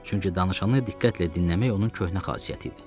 Çünki danışanı diqqətlə dinləmək onun köhnə xasiyyəti idi.